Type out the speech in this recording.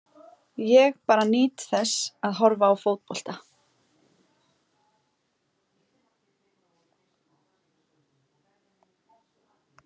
Ég bara nýt þess að horfa á fótbolta.